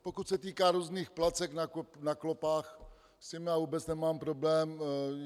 Pokud se týká různých placek na klopách, s tím já vůbec nemám problém.